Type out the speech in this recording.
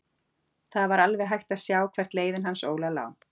Það var alveg hægt að sjá hvert leiðin hans Óla lá.